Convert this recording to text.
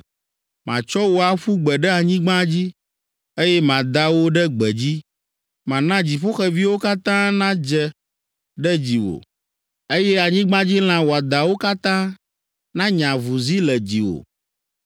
Matsɔ wò aƒu gbe ɖe anyigba dzi, Eye mada wò ɖe gbedzi, Mana dziƒoxeviwo katã nadze ɖe dziwò, Eye anyigbadzilã wɔadãwo katã Nanya avuzi le dziwò.